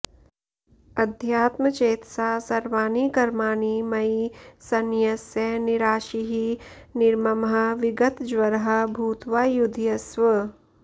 अध्यात्मचेतसा सर्वाणि कर्माणि मयि सन्न्यस्य निराशीः निर्ममः विगतज्वरः भूत्वा युध्यस्व